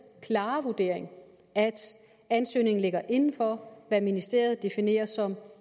klare vurdering at ansøgningen ligger inden for hvad ministeriet definerer som